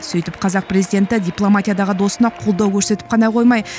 сөйтіп қазақ президенті дипломатиядағы досына қолдау көрсетіп қана қоймай